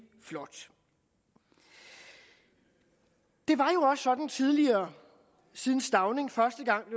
flot det var jo sådan tidligere siden stauning første gang